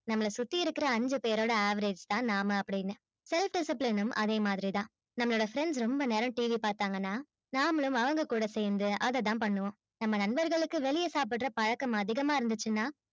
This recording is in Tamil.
நம்பள சுத்தி இருக்க பேரோட average நம்ப அப்டினு self disciplined அதேமாதிரி தான் நம்மளோட friends ரொம்ப நேரம் டிவி பாதகனா நம்மளும் அவங்க கூட சேர்ந்து அதைத்தான் பண்ணுனோம் நம்ப நம்பர்களுக்கு வெளிய சாப்பிடுற பழக்கம் இருந்துச்சுன்னா